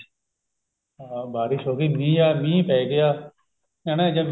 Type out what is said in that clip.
ਹਾਂ ਬਾਰਿਸ਼ ਹੋਗੀ ਮੀਂਹ ਆ ਮੀਂਹ ਪੈ ਗਿਆ ਹਨਾ ਜਦ ਮੀਂਹ